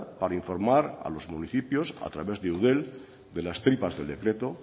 para informar a los municipios a través de eudel de las tripas del decreto